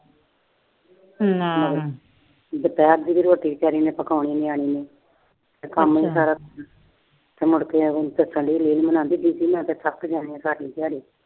ਦੁਪਹਿਰ ਦੀ ਵੀ ਰੋਟੀ ਵਿਚਾਰੀ ਨੇ ਪਕਾਉਣੀ ਆ। ਤੇ ਮੁੜ ਕੇ ਦੱਸਣ ਦਈ ਮੈਂ ਤਾਂ ਥੱਕ ਜਾਂਦੀ ਆ ਸਾਰੀ ਦਿਹਾੜੀ।